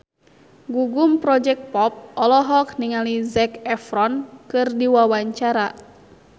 Gugum Project Pop olohok ningali Zac Efron keur diwawancara